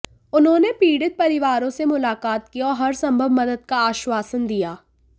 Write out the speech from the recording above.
उन्होंने पीड़ित परिवारों से मुलाकात की और हरसंभव मदद का आश्वासन दिया